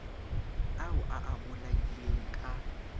ao a a bolaileng ka